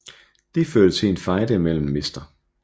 Det førte til en fejde mellem Mr